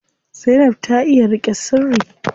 Zainab ta iya riƙe sirri.